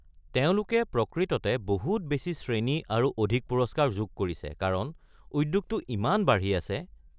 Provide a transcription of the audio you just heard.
তেওঁলোকে প্ৰকৃততে বহুত বেছি শ্ৰেণী আৰু অধিক পুৰস্কাৰ যোগ কৰিছে কাৰণ উদ্যোগটো ইমান বাঢ়ি আছে।